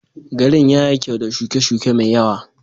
Garin ya yi kyau da shuke-shuke mai yawa.